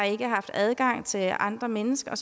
ikke har haft adgang til andre mennesker